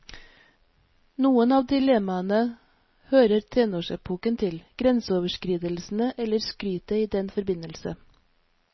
Noen av dilemmaene hører tenårsepoken til, grenseoverskridelsene eller skrytet i den forbindelse.